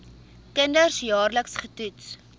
kinders jaarliks getoets